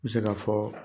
N bɛ se ka fɔ